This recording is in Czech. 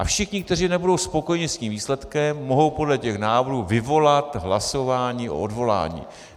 A všichni, kteří nebudou spokojeni s tím výsledkem, mohou podle těch návrhů vyvolat hlasování o odvolání.